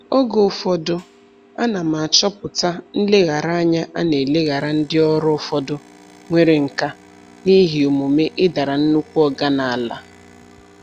Oge ụfọdụ, ana m achọpụta nlegharanya a na-eleghara ndị ọrụ ụfọdụ nwere nkà n'ihi omume "ịdara nnukwu oga n'ala".